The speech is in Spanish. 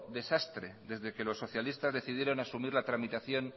desastre desde que los socialistas decidieron asumir la tramitación